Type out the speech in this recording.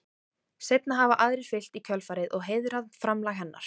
Seinna hafa aðrir fylgt í kjölfarið og heiðrað framlag hennar.